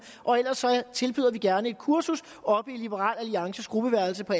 og ellers tilbyder vi gerne et kursus oppe i liberal alliances gruppeværelse på